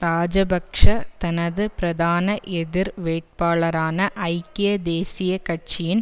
இராஜபக்ஷ தனது பிரதான எதிர் வேட்பாளரான ஐக்கிய தேசிய கட்சியின்